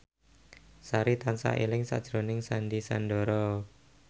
Sari tansah eling sakjroning Sandy Sandoro